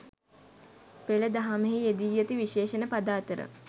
පෙළ දහමෙහි යෙදී ඇති විශේෂණ පද අතර